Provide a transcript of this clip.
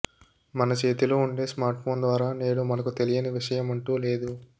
మనచేతిలో ఉండే smartphone ద్వారా నేడు మనకు తెలియని విషయం అంటూ లేదు